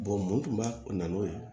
mun tun b'a kun na n'o ye